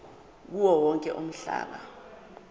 kuwo wonke umhlaba